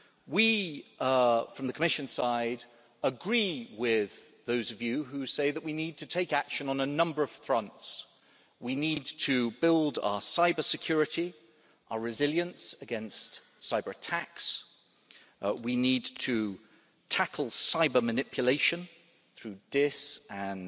We, from the Commission side, agree with those of you who say that we need to take action on a number of fronts we need to build our cybersecurity and our resilience against cyberattacks, we need to tackle cyber manipulation through dis— and